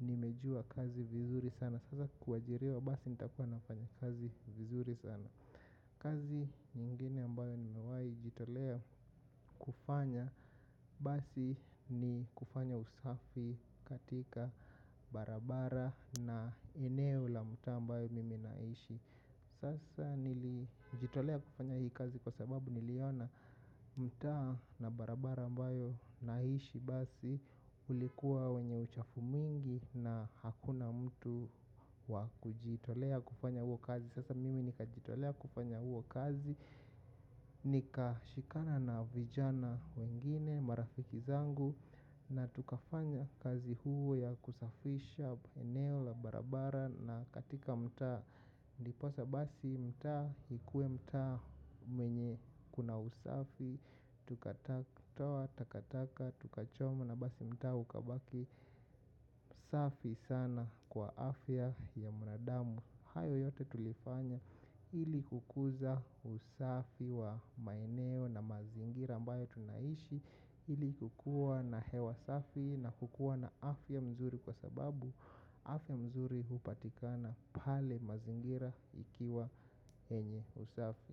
nimejua kazi vizuri sana. Sasa kuajiriwa basi nitakuwa nafanya kazi vizuri sana. Kazi nyingine ambayo nimewai jitolea kufanya basi ni kufanya usafi katika barabara na eneo la mta ambayo mimi naishi. Sasa nilijitolea kufanya hii kazi kwa sababu niliona mta na barabara ambayo naishi basi ulikuwa wenye uchafu mwingi na hakuna mtu wakujitolea kufanya huo kazi sasa mimi nikajitolea kufanya huo kazi nika shikana na vijana wengine marafiki zangu na tukafanya kazi huo ya kusafisha eneo la barabara na katika mta niposa basi mta ikuwe mta mwenye kuna usafi. Tukataka toa, takataka, tukachoma na basi mta ukabaki. Safi sana kwa afya ya mwanadamu. Hayo yote tulifanya ili kukuza usafi wa maineo na mazingira ambayo tunaishi ili kukua na hewa safi na kukua na afya mzuri kwa sababu afya mzuri upatikana pale mazingira ikiwa yenye usafi.